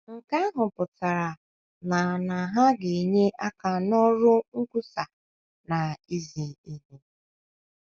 Nke ahụ pụtara na na ha ga - enye aka n’ọrụ nkwusa na izi ihe.